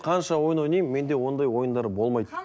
қанша ойын ойнаймын менде ондай ойындар болмайды